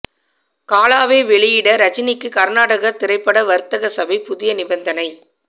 காலாவை வெளியிட ரஜினிக்கு கர்நாடக திரைப்பட வர்த்தக சபை புதிய நிபந்தனை